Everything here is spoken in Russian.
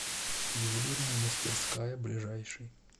ювелирная мастерская ближайший